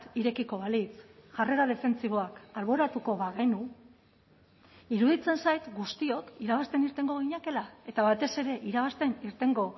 irekiko balitz jarrera defentsiboak alboratuko bagenu iruditzen zait guztiok irabazten irtengo ginakeela eta batez ere irabazten irtengo